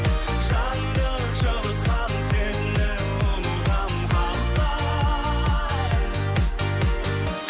жанды жылытқан сені ұмытамын қалай